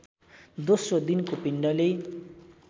दोस्रो दिनको पिण्डले